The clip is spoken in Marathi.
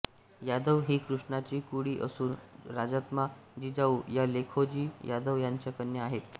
यादव ही कृष्णाची कुळी असून राज्माता जिजाऊ या लखोजी यादव यांच्या कन्या आहेत